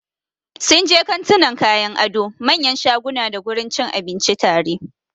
Sunje kantunan kayan ado, manyan shaguna dagurin cin abinci tare.